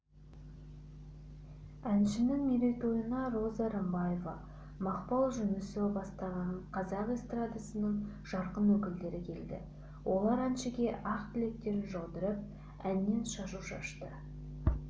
әншінің мерейтойына роза рымбаева мақпал жүнісова бастаған қазақ эстрадасының жарқын өкілдері келді олар әншіге ақ тілектерін жаудырып әннен шашу шашты